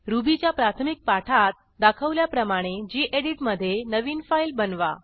रुबीच्या प्राथमिक पाठात दाखवल्याप्रमाणे गेडीत मधे नवीन फाईल बनवा